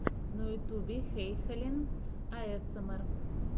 на ютубе хэйхелен аэсэмэр